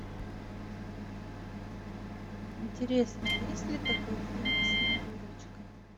интересно есть ли такой фильм снегурочка